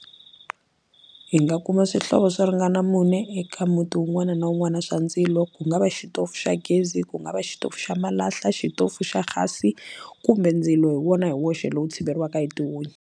Hi nga kuma swihlovo swo ringana mune eka muti wun'wana na wun'wana swa ndzilo ku nga va xitofu xa gezi ku nga va xitofu xa malahla xitofu xa hhasi kumbe ndzilo hi wona hi woxe lowu tshiveriwaka hi tihunyi.